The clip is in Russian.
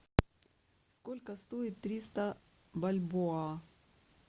сколько стоит триста бальбоа